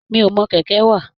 Mi o mọ kẹkẹ wá.